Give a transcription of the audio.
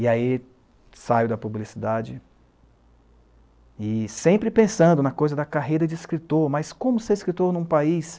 E aí saio da publicidade e sempre pensando na coisa da carreira de escritor, mas como ser escritor em um país